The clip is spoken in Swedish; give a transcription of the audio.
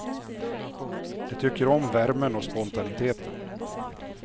De tycker om värmen och spontaniteten.